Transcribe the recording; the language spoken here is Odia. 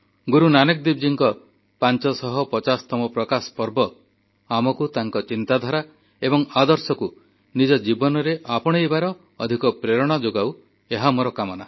ଗୁରୁ ନାନକଦେବଜୀଙ୍କ 550ତମ ପ୍ରକାଶ ପର୍ବ ଆମକୁ ତାଙ୍କ ଚିନ୍ତାଧାରା ଏବଂ ଆଦର୍ଶକୁ ନିଜ ଜୀବନରେ ଆପଣେଇବାର ଅଧିକ ପ୍ରେରଣା ଯୋଗାଉ ଏହା ମୋର କାମନା